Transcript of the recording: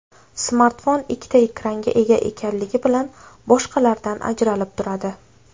Smartfon ikkita ekranga ega ekanligi bilan boshqalardan ajralib turadi.